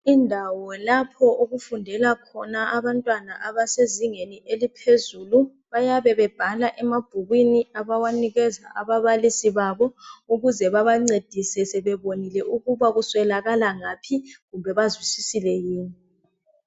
Indawo lapho okufundela khona abantwana abasezingeni eliphezulu, bayabe bebhala emabhukwini abawanikeza ababalisi babo ukuze babancedise sebebonile ukuba kuswelaka ngaphi kumbe bazwisisile yini.